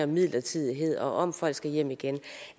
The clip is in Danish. midlertidighed og om at folk skal hjem igen